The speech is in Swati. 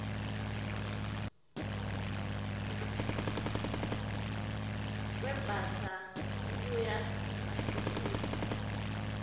kwembastsa ngekuya ngemasiko etfu